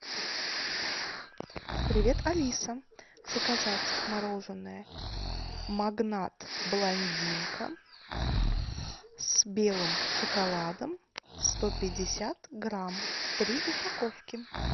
привет алиса заказать мороженое магнат блондинка с белым шоколадом сто пятьдесят грамм три упаковки